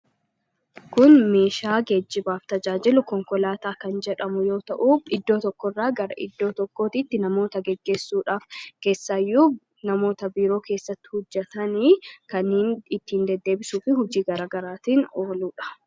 kun miishaa geejjibaaf tajaajilu konkolaataa kan jedhamu yoo ta'uu iddoo tokko irraa gara iddoo tokkoot itti namoota geggessuudhaaf keessaayyuu namoota biroo keessatti hujjetanii kaniin ittiin deddeebisuufi hujii garagaraatiin ooluudha